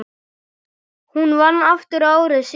Hún vann aftur ári síðar.